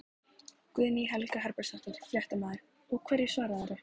Guðný Helga Herbertsdóttir, fréttamaður: Og hverju svararðu?